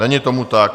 Není tomu tak.